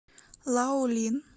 лаолин